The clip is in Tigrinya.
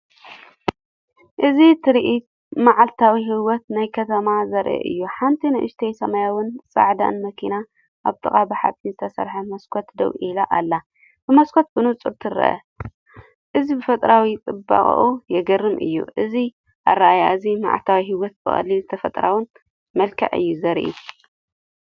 እዚ ትርኢት መዓልታዊ ህይወት ናይከተማ ዘርኢ እዩ። ሓንቲ ንእሽቶ ሰማያውን ጻዕዳን መኪና ኣብ ጥቓ ብሓጺን ዝተሰርሐ መስኮት ደው ኢላ ኣላ፣ ብመስኮት ብንጹር ትርአ። እዚ ብተፈጥሮኣዊ ጽባቐኡ የገርም እዩ። እዚ ኣረኣእያ እዚ መዓልታዊ ህይወት ብቐሊልን ተፈጥሮኣውን መልክዕ እዩ ዘርኢ።